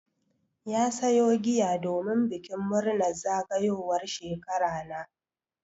Ya sayo giya domin bikin murnar zagayowar shekara na.